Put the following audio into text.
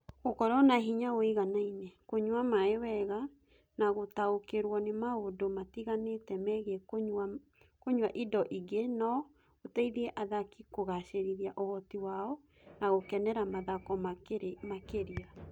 Gũkorũo na hinya ũiganaine, kũnyua maĩ wega, na gũtaũkĩrũo nĩ maũndũ matiganĩte megiĩ kũnyua indo ingĩ no gũteithie athaki kũgaacĩrithia ũhoti wao na gũkenera mathako makĩria.